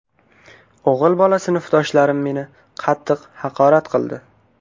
O‘g‘il bola sinfdoshlarim meni qattiq haqorat qildi.